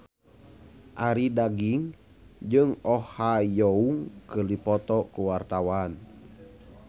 Arie Daginks jeung Oh Ha Young keur dipoto ku wartawan